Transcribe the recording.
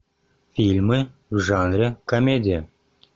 фильмы в жанре комедия